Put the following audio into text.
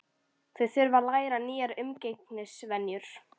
Þau þurftu að læra nýjar umgengnisvenjur.